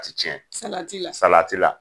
Ti tiɲɛ sati la? salati la.